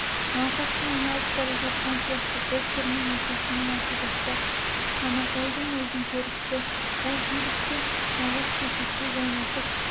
науқасқа айналып бара жатқан сияқты доктормен әкесімен ақылдаспақ самарбайдың өзі көріпті бір билікті мағаш төсекте жантайып